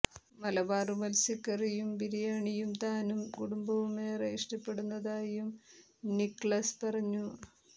മലബാര് മത്സ്യക്കറിയും ബിരിയാണിയും താനും കുടുംബവും ഏറെ ഇഷ്ടപ്പെടുന്നതായും നിക്ളസ് പറഞ്ഞു